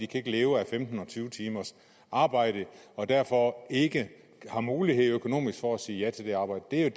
kan leve af femten og tyve timers arbejde og derfor ikke har mulighed økonomisk for at sige ja til det arbejde det er